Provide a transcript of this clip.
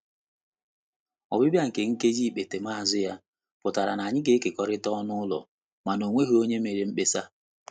Ọbịbịa nke nkeji nkpetemazu ya pụtara na anyị ga-ekekọrịta ọnụ ụlọ, mana ọ nweghị onye mere mkpesa.